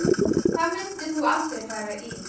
Hvað myndir þú aldrei fara í